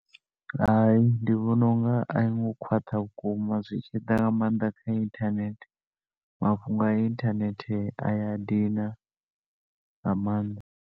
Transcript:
Hai, ndi vhona unga a yi ngo khwaṱha vhukuma, zwi tshi ḓa nga maanḓa kha inthanethe, mafhungo a inthanethe a ya dina nga maanḓa.